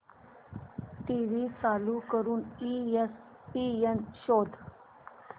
TV चालू करून ESPN शोध